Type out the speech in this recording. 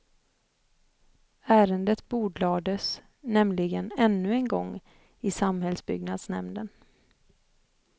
Ärendet bordlades nämligen ännu en gång i samhällsbyggnadsnämnden.